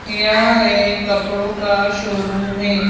यह एक कपड़ों का शोरूम है।